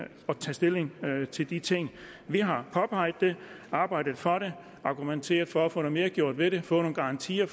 tage stilling til de ting vi har påpeget det arbejdet for det argumenteret for at få noget mere gjort ved det fået nogle garantier